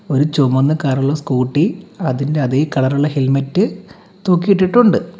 ഒരു ചുമന്ന കരൊള്ള സ്കൂട്ടി അതിന്റെ അതേ കളറുള്ള ഹെൽമെറ്റ് തൂക്കിയിട്ടിട്ടുണ്ട്.